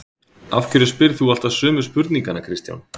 Af hverju spyrð þú alltaf sömu spurninganna Kristján?